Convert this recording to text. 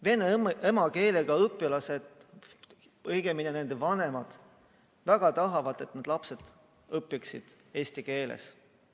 Vene emakeelega õpilased, õigemini nende vanemad väga tahavad, et nende lapsed õpiksid eesti keeles.